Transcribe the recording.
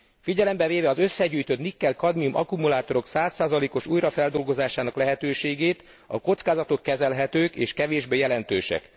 Figyelembe véve az összegyűjtött nikkel kadmium akkumulátorok 100 os újrafeldolgozásának lehetőségét, a kockázatok kezelhetők és kevésbé jelentősek.